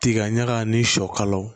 Tiga ɲaga ni sɔ kalaw